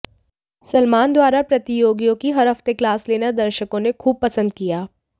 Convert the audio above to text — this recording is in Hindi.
सलमान द्वारा प्रतियोगियों की हर हफ्ते क्लास लेना दर्शकों ने खूब पसंद किया